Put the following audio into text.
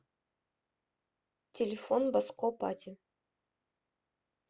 телефон баско пати